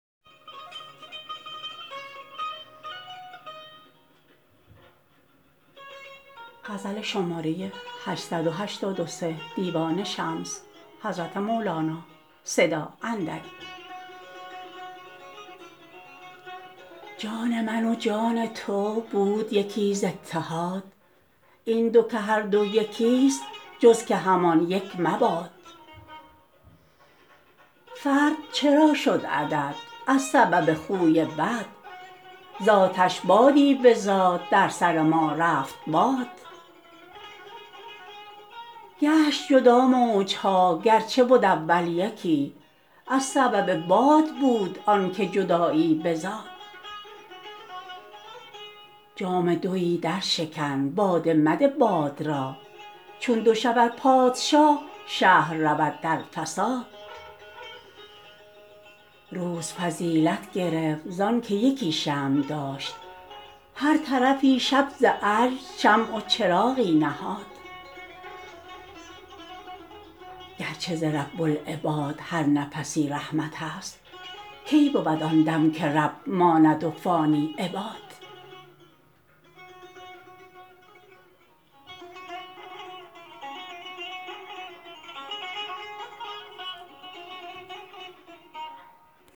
جان من و جان تو بود یکی ز اتحاد این دو که هر دو یکیست جز که همان یک مباد فرد چرا شد عدد از سبب خوی بد ز آتش بادی بزاد در سر ما رفت باد گشت جدا موج ها گرچه بد اول یکی از سبب باد بود آنک جدایی بزاد جام دوی درشکن باده مده باد را چون دو شود پادشاه شهر رود در فساد روز فضیلت گرفت زانک یکی شمع داشت هر طرفی شب ز عجز شمع و چراغی نهاد گرچه ز رب العباد هر نفسی رحمتست کی بود آن دم که رب ماند و فانی عباد